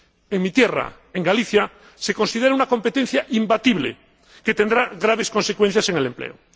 En mi tierra, en Galicia, se considera una competencia imbatible, que tendrá graves consecuencias en el empleo.